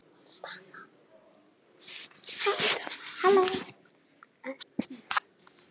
Slepptu mér maður.